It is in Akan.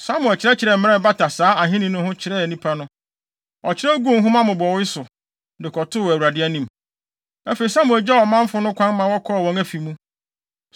Samuel kyerɛkyerɛɛ mmara a ɛbata saa ahenni no ho kyerɛɛ nnipa no. Ɔkyerɛw guu nhoma mmobɔwee so, de kɔtoo Awurade anim. Afei, Samuel gyaa ɔmanfo no kwan ma wɔkɔɔ wɔn afi mu.